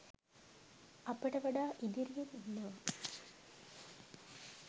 අපිට වඩා ඉදිරියෙන් ඉන්නවා.